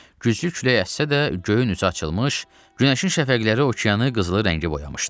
Güclü külək əssə də, göyün üzü açılmış, günəşin şəfəqləri okeanı qızılı rəngə boyamışdı.